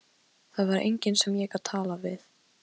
Það var enginn sem ég gat talað við.